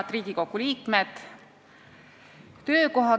Head Riigikogu liikmed!